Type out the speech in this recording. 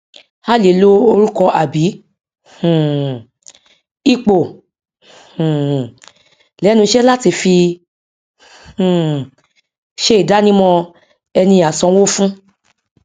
a lè lo orùkọ àbí um ipò um lẹnu iṣẹ láti fi um se ìdánimọ ẹni asanwó fún